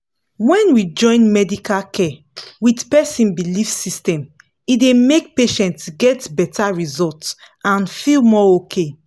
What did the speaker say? when we join medical care with person belief system e dey make patients get better result and feel more okay